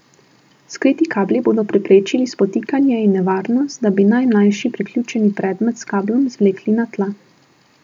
Skriti kabli bodo preprečili spotikanje in nevarnost, da bi najmlajši priključeni predmet s kablom zvlekli na tla.